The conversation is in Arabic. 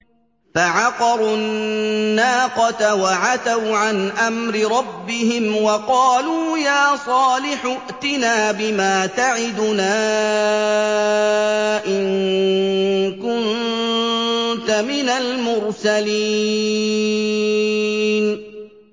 فَعَقَرُوا النَّاقَةَ وَعَتَوْا عَنْ أَمْرِ رَبِّهِمْ وَقَالُوا يَا صَالِحُ ائْتِنَا بِمَا تَعِدُنَا إِن كُنتَ مِنَ الْمُرْسَلِينَ